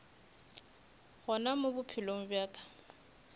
gona mo bophelong bja ka